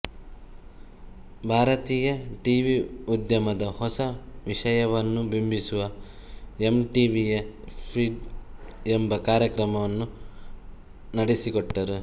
ಭಾರತೀಯ ಟಿವಿ ಉದ್ಯಮದ ಹೊಸ ವಿಷಯವನ್ನು ಬಿಂಬಿಸುವ ಎಂಟಿವಿಯ ಸ್ಟ್ರಿಪ್ಡ್ ಎಂಬ ಕಾರ್ಯಕ್ರಮವನ್ನು ನಡೆಸಿಕೊಟ್ಟರು